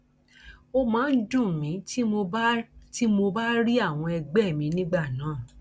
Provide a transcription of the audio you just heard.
ó máa ń dùn mí tí mo bá mo bá rí àwọn ẹgbẹ mi nígbà náà